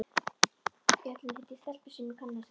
Í Höllinni hitti ég stelpu sem ég kannaðist við.